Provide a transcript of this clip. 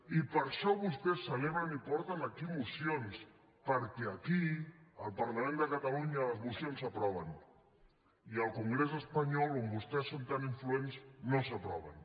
i per això vostès celebren i porten aquí mocions perquè aquí al parlament de catalunya les mocions s’aproven i al congrés espanyol on vostès són tan influents no s’aproven